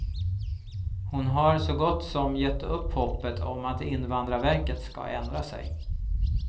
Han har så gott som gett upp hoppet om att invandrarverket ska ändra sig.